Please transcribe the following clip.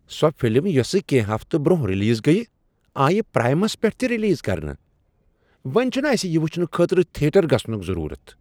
سۄ فلم یۄسہٕ کینٛہہ ہفتہٕ برونہہ ریلیز گیہ آیہ پرائمس پیٹھ تہِ ریلیز كرنہٕ ۔ وۄنہِ چھٗنہٕ اسہِ یہ وٗچھنہٕ خٲطرٕ تھیٹر گژھنک ضرورت۔